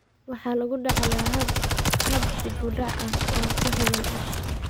Waxa lagu dhaxlaa hab dib u dhac ah oo ku xidhan X.